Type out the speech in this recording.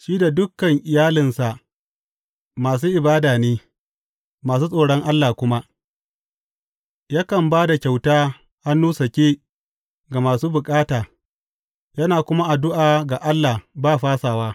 Shi da dukan iyalinsa masu ibada ne masu tsoron Allah kuma; yakan ba da kyauta hannu sake ga masu bukata yana kuma addu’a ga Allah ba fasawa.